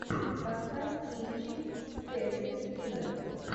поставь кинчик с кэтрин кинер